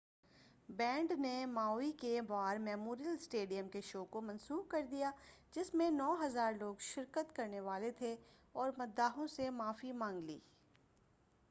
Band نے Maui کے War Memorial Stadium کے شو کو منسوخ کردیا، جس میں 9،000 لوگ شرکت کرنے والے تھے، اور مداحوں سے معافی مانگ لی۔